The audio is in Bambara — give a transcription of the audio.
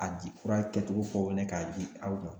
A di fura kɛcogo fɔ ne ka di aw ma.